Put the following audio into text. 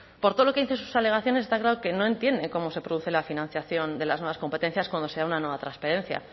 por todo lo que dicen sus alegaciones está claro que no entiende cómo se produce la financiación de las nuevas competencias cuando sea una nueva transparencia